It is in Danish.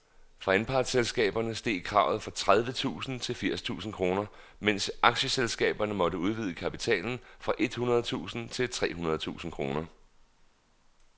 For anpartsselskaberne steg kravet fra tredive tusind til firs tusind kroner, mens aktieselskaberne måtte udvide kapitalen fra et hundrede tusind til tre hundrede tusind kroner.